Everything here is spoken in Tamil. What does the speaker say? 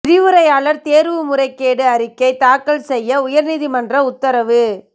விரிவுரையாளர் தேர்வு முறைகேடு அறிக்கை தாக்கல் செய்ய உயர் நீதிமன்றம் உத்தரவு